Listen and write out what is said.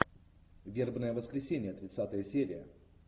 вербное воскресенье тридцатая серия